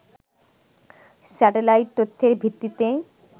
satellite তথ্যের ভিত্তিতে